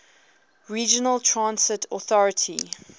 regional transit authority